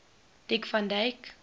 dick van dyke